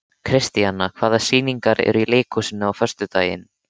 Kristíanna, hvaða sýningar eru í leikhúsinu á föstudaginn?